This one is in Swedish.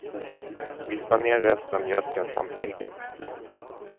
Vispa ner resten av mjölken samt äggen.